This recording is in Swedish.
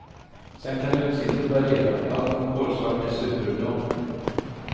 Sen kan utseendet variera, allt från kolsvart till superblond.